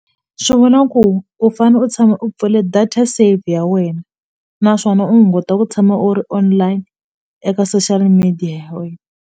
Swi vona ku u fane u tshama u pfule data save ya wena naswona u hunguta ku tshama u ri online eka social media ya wena.